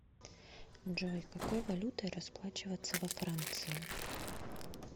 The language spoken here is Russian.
джой какой валютой расплачиваться во франции